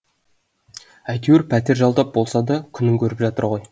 әйтеуір пәтер жалдап болса да күнін көріп жатыр ғой